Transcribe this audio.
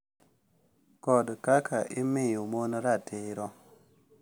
Kod kaka imiyo mon ratiro